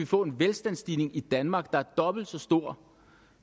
få en velstandsstigning i danmark der var dobbelt så stor